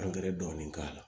dɔɔnin k'a la